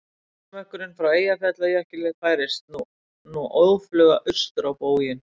Gosmökkurinn frá Eyjafjallajökli færist nú óðfluga austur á bóginn.